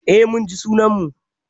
Eh, mun ji sunan mu.